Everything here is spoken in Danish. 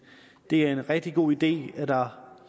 det er en rigtig god idé at der